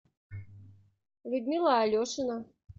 людмила алешина